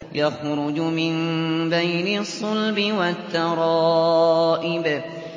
يَخْرُجُ مِن بَيْنِ الصُّلْبِ وَالتَّرَائِبِ